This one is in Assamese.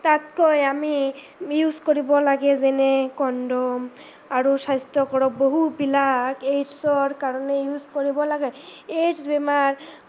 তাতকে আমি use কৰিব লাগে যেনে condom আৰু বহুত বিলাক AIDS ৰ কাৰনে use কৰিব লাগে, AIDS বেমাৰ